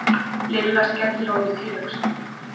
Lilla skellihló við tilhugsunina.